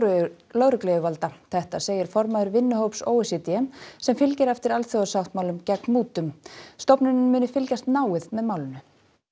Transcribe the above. lögregluyfirvalda þetta segir formaður vinnuhóps o e c d sem fylgir eftir alþjóðasáttmála gegn mútum stofnunin muni fylgjast náið með málinu